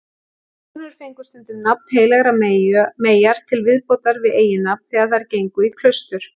Konur fengu stundum nafn heilagrar meyjar til viðbótar við eiginnafn þegar þær gengu í klaustur.